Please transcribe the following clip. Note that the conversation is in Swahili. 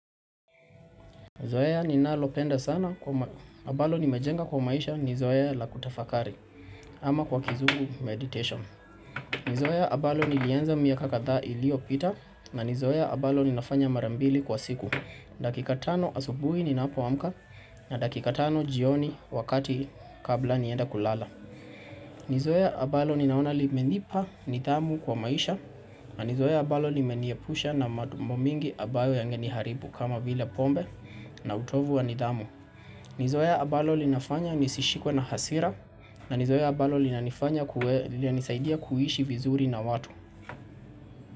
Zoea ninalopenda sana kwa ambalo nimejenga kwa maisha ni zoea la kutafakari ama kwa kizungu meditation. Ni zoea ambalo nilianza miaka kadhaa iliopita na ni zoea ambalo ninafanya mara mbili kwa siku. Dakika tano asubuhi ninapo amka, na dakika tano jioni wakati kabla nienda kulala. Ni zoea ambalo ninaona limenipa nidhamu kwa maisha na ni zoea ambalo nimeniepusha na mambo mingi ambayo yangeni haribu kama vile pombe na utovu wa nidhamu ni zoea ambalo linafanya nisishikwe na hasira na ni zoea ambalo lina nifanya kue lina nisaidia kuishi vizuri na watu.